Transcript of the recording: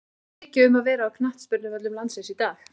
Ekki er mikið um að vera á knattspyrnuvöllum landsins í dag.